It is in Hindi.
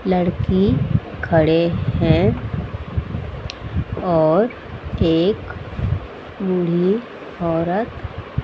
लड़की खड़े हैं और केक बुढ़ी औरत--